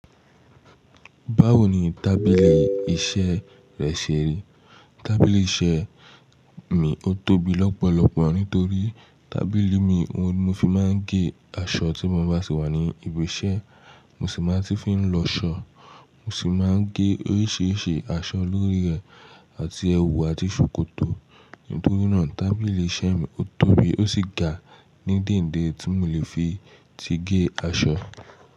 Báwo ni tábìlì iṣẹ́ rẹ ṣe rí? Tábìlì iṣẹ́ mi ó tóbi lọ́pọ̀lọpọ̀ nitorí tábìlì mi o ní ó fi máa ń gé aṣọ tí mo bá sì wà ní ibi iṣẹ́, mo sì máa ti fi ń lọ aṣọ, mo sì máa ń gé oríṣìíríṣìí aṣọ lórí rẹ̀ àti ẹwù àti ṣòkòtò. Nítorí náà tábìlì iṣẹ́ mi ó tóbi ó sì ga ní díǹdíẹ̀ tí mò lè fi ti gé aṣọ.